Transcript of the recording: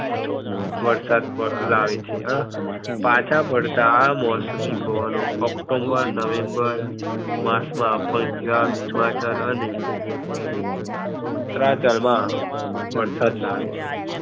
વરસાદ પ ~લાવે છે. પાછા ફરતા આ મોસમી પવનો ઓક્ટોમ્બર, નવેમ્બર માસ માં પંજાબ, હિમાચલ અને ઉત્તરાંચલ માં વરસાદ લાવે છે.